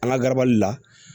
An ka garabali la